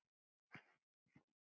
Hún sjái til þess.